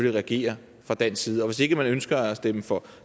reagere fra dansk side hvis ikke man ønsker at stemme for